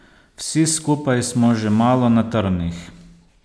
Vsi skupaj smo že malo na trnih.